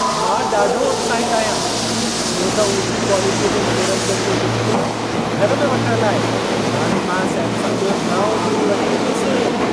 मां ॾाढो उत्साहित आहियां, छो त ऊची क्वालिटीअ जे मनोरंजन जो लुत्फ़ घर में वठण लाइ हाणे मां सैमसंग जो नओं टी.वी. वठी ईंदुसि।